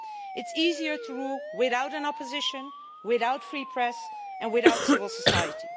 It's easier to rule without an opposition, without free press, and without civil society.